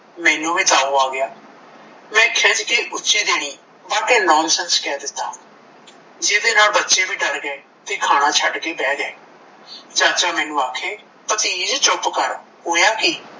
ਮੈਨੂੰ ਵੀ ਤਉ ਆ ਗਿਆ ਮੈਂ ਖਿਝ ਕੇ ਉੱਚੀ ਦੇਣੀ what a nonsense ਕਹਿ ਦਿੱਤਾ ਜਿਹੜੇ ਨਾਲ ਬੱਚੇ ਵੀ ਡਰ ਗਏ ਤੇ ਖਾਣਾ ਛੱਡ ਕੇ ਬਹਿ ਗਏ ਚਾਚਾ ਮੈਨੂੰ ਆਖੇ ਭਤੀਜ ਚੁੱਪ ਕਰ ਹੋਇਆ ਕੀ